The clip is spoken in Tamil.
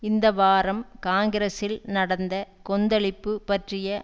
இந்த வாரம் காங்கிரசில் நடந்த கொந்தளிப்பு பற்றிய